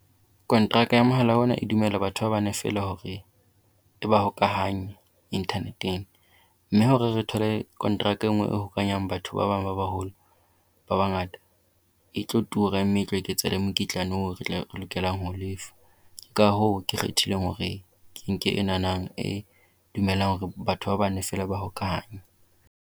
Kontraka ya mohala ona e dumela batho ba bane fela hore e ba hokahanye internet-eng. Mme hore re thole contract e nngwe e ho batho ba bang ba baholo ba bangata, e tlo tura mme e tlo eketsa le mokitlane o lokelang ho lefa. Ka hoo, ke kgethile hore ke nke enana e dumelang hore batho ba bane fela ba hokahanye.